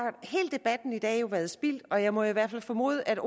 hele debatten i dag jo været spildt og jeg må i hvert fald formode at